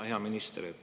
Hea minister!